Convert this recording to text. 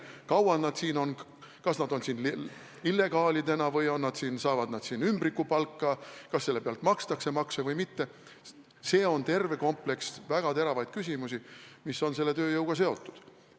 Kui kaua nad siin on, kas nad on siin illegaalidena, kas nad saavad siin ümbrikupalka, kas makstakse maksu või mitte – see on terve kompleks väga teravaid küsimusi, mis on selle tööjõuga seotud.